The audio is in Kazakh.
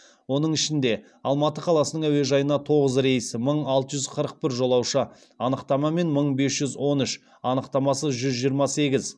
оның ішінде алматы қаласының әуежайына тоғыз рейс мың алты жүз қырық бір жолаушы анықтамамен мың бес жүз он үш анықтамасыз жүз жиырма сегіз